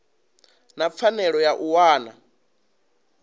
na pfanelo ya u wana